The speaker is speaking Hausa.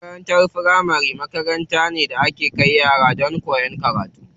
Makarantar firamari makaranta ce da ake kai yara don su koyi karatu.